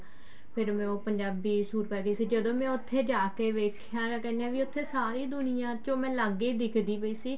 ਫ਼ੇਰ ਮੈਂ ਉਹ ਪੰਜਾਬੀ ਸੂਟ ਪਾਗੀ ਸੀ ਜਦੋਂ ਮੈਂ ਉੱਥੇ ਜਾ ਕੇ ਦੇਖਿਆ ਉੱਥੇ ਮੈਂ ਸਾਰੀ ਦੁਨੀਆ ਤੋਂ ਅਲੱਗ ਹੀ ਦਿਖਦੀ ਸੀ